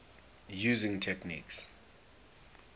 using techniques